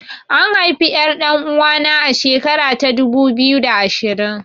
An haifi ƴar ɗan uwana a shekara ta dubu biyu da ashirin